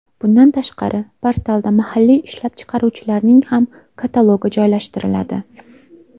Bundan tashqari, portalda mahalliy ishlab chiqaruvchilarning ham katalogi joylashtiriladi.